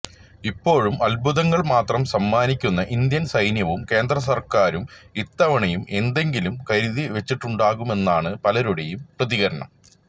ഇപ്പോഴും അത്ഭുതങ്ങൾ മാത്രം സമ്മാനിക്കുന്ന ഇന്ത്യൻ സൈന്യവും കേന്ദ്രസർക്കാരും ഇത്തവണയും എന്തെങ്കിലും കരുതിവെച്ചിട്ടുണ്ടാവുമെന്നാണ് പലരുടെയും പ്രതികരണം